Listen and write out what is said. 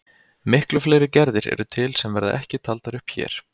Miklu fleiri gerðir eru til sem verða ekki taldar upp hér.